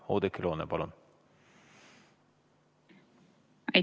Oudekki Loone, palun!